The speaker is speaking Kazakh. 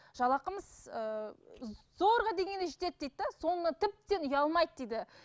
жалақымыз ыыы зорға дегенде жетеді дейді де соны тіптен ұялмайды дейді